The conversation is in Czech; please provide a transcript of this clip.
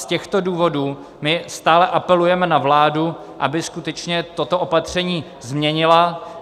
Z těchto důvodů my stále apelujeme na vládu, aby skutečně toto opatření změnila.